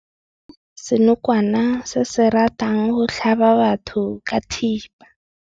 Re bone senokwane se se ratang go tlhaba batho ka thipa.